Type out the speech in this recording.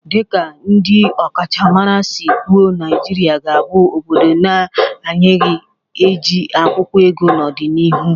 Dị ka ndị ọkachamara si kwụọ Naijiria ga-abụ obodo na-anaeghị eji akwụkwụọ ego n'ọdịnihu